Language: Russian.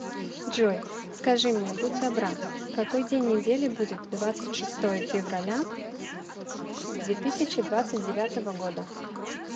джой скажи мне будь добра какой день недели будет двадцать шестое февраля две тысячи двадцать девятого года